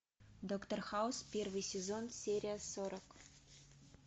доктор хаус первый сезон серия сорок